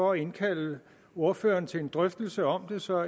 og indkalde ordførerne til en drøftelse om det så